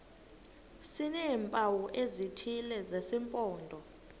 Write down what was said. sineempawu ezithile zesimpondo